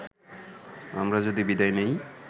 আমরা যদি বিদায় নেই